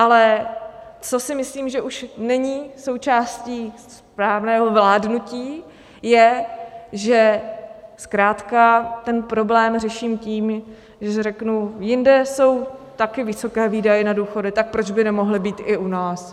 Ale co si myslím, že už není součástí správného vládnutí, je, že zkrátka ten problém řeším tím, že řeknu: Jinde jsou taky vysoké výdaje na důchody, tak proč by nemohly být i u nás?